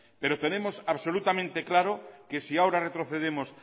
pero tenemos absolutamente claro que si ahora retrocedemos